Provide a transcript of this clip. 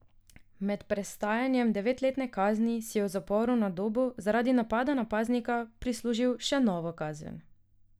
Med prestajanjem devetletne kazni si je v zaporu na Dobu zaradi napada na paznika prislužil še novo kazen.